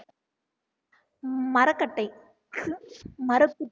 மரக்கட்டை